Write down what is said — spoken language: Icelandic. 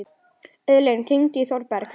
Auðlín, hringdu í Þorberg.